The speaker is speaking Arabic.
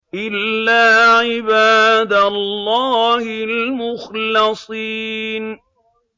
إِلَّا عِبَادَ اللَّهِ الْمُخْلَصِينَ